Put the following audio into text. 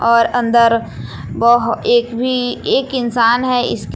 और अंदर वह एक भी एक इंसान है।